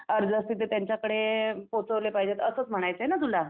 अर्ज असतील तर त्यांच्याकडे अ पोहोचवले पाहिजेत असच म्हणायचं आहेना तुला.